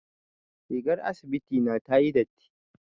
Rigar asibiti na tayi datti.